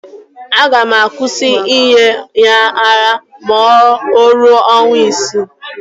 Aga m akwụsị inye ya ara ma o ruo ọnwa isii